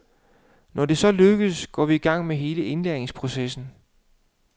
Når det så er lykkedes, går vi i gang med hele indlæringsprocessen.